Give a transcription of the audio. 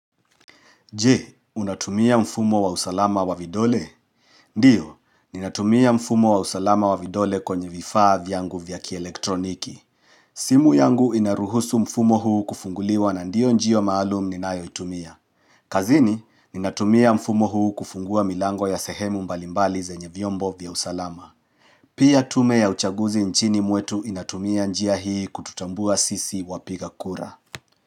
Je, unatumia mfumo wa usalama wa vidole? Ndiyo, ninatumia mfumo wa usalama wa vidole kwenye vifaa vyangu vyaki elektroniki. Simu yangu inaruhusu mfumo huu kufunguliwa na ndiyo njia maalum ninayo itumia. Kazini, ninatumia mfumo huu kufungua milango ya sehemu mbalimbali zenye vyombo vyausalama. Pia tume ya uchaguzi nchini mwetu inatumia njia hii kututambua sisi wapiga kura.